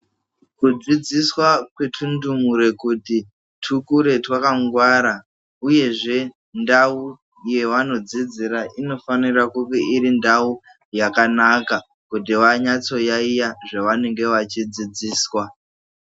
Kudzidziswa kwetundumure kuti tukure twakangwara uyezvee ndawu yavanodzidzira inofanirwa kunge iri ndawu yakanaka kuti vanatso yayiya zvaanenge vechidzidziswa.